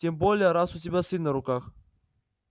тем более раз у тебя сын на руках